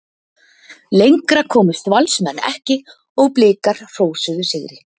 Lengra komust Valsmenn ekki og Blikar hrósuðu sigri.